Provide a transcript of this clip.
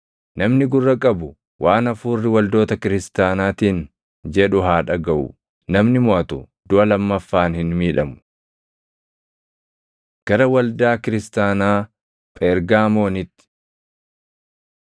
Namni gurra qabu waan Hafuurri waldoota kiristaanaatiin jedhu haa dhagaʼu. Namni moʼatu duʼa lammaffaan hin miidhamu. Gara Waldaa Kiristaanaa Phergaamoonitti